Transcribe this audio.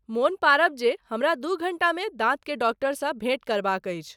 मोन पारब जे हमरा दू घंटा मे दाँतक डॉक्टरसँ भेंट करबाक अछि